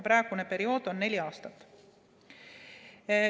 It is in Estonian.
Praegune periood on neli aastat.